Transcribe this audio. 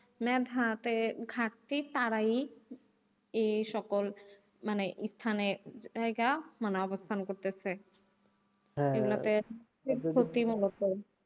মেধাতে ঘাটতি তারাই এই সকল মানে স্থানে জায়গা মানে অবস্থান করতেছে। এগুলা তে,